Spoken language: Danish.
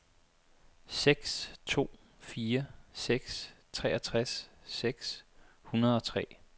seks to fire seks treogtres seks hundrede og tre